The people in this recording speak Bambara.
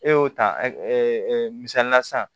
E y'o ta misalila sisan